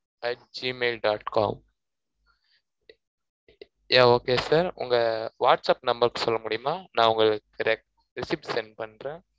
at gmail dot com yeah okay sir உங்க whatsapp number சொல்ல முடியுமா நான் உங்களுக்கு req recepit send பண்றேன்